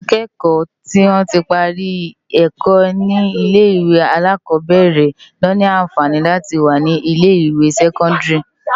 Awòn ákéèkò tó ti pári èkò ni ilé iwé àlákòbèrè ló ni ànfáni láti wá ni ilé iwé sèkòndári